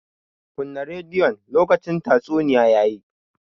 Kunna rediyon! lokacin tatsuniya ya yi.